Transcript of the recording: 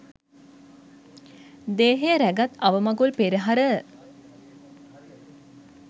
දේහය රැගත් අවමගුල් පෙරහර